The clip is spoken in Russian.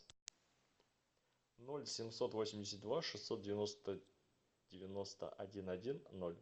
ноль семьсот восемьдесят два шестьсот девяносто девяносто один один ноль